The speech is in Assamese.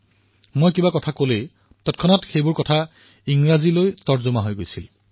যেতিয়া মই কিবা কৈছিলো তেতিয়া সেয়া একে সময়তে ইংৰালৈ অনুবাদ হৈছিল